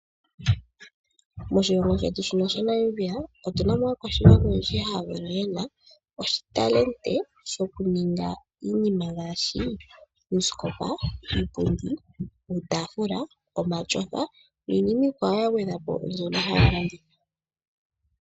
Moshilongo shetu shino shaNamibia otu na mo aakwashigwana oyendji mbono ye na ontseyo yoku ninga iinima ngaashi uusikopa, iipundi, iitaafula, omatyofa niinima iikwawo ya gwedhwa po mbyono ha ya landitha.